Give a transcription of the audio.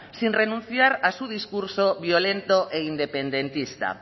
sin renunciar a su discurso violento e independentista